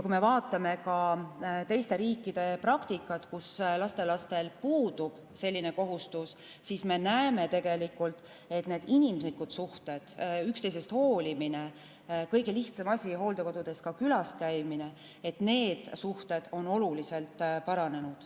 Kui me vaatame ka teiste riikide praktikat, kus lastelastel selline kohustus puudub, siis me näeme, et inimlikud suhted, üksteisest hoolimine – kõige lihtsam asi on hooldekodus külas käimine – on oluliselt paranenud.